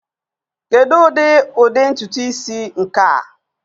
Kedu ụdị* ụdị ntutu isi nke a?